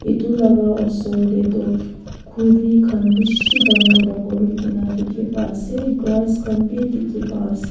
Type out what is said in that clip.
etu laga osor te tu khori khan bisi dangor dangor hoike kina dekhi pai ase grass khan bhi dekhi pai ase.